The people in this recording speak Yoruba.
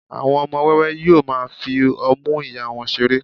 àwọn ọmọ wẹwẹ yíò ma fi ọmu ìyá wón seré